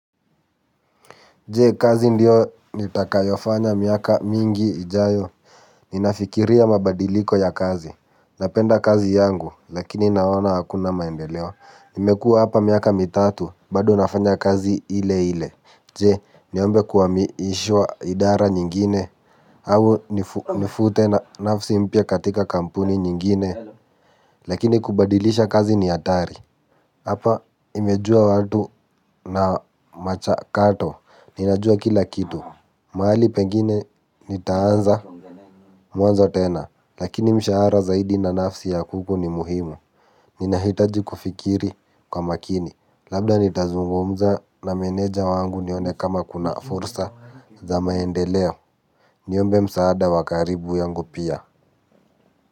Je kazi ndio nitakayofanya miaka mingi ijayo? Ninafikiria mabadiliko ya kazi. Napenda kazi yangu lakini naona hakuna maendeleo nimekua hapa miaka mitatu bado nafanya kazi ile ile. Je, niombe kuwamiishwa idara nyingine? Au nifute nafsi mpya katika kampuni nyingine. Lakini kubadilisha kazi ni atari. Hapa nimejua watu na machakato, ninajua kila kitu, maali pengine nitaanza muanzo tena, lakini mshahara zaidi na nafsi ya kuku ni muhimu. Ninahitaji kufikiri kwa makini, labda nitazungumza na meneja wangu nione kama kuna fursa za maendeleo. Niombe msaada wa karibu yangu pia.